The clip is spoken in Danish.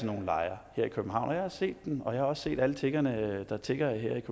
nogle lejre her i københavn jeg har set dem og jeg har også set alle tiggerne der tigger her i